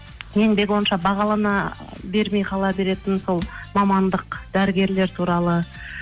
еңбегі онша бағалана бермей қала беретін сол мамандық дәрігерлер туралы